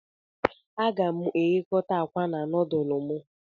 Aga m eghekota akwa na nudulu m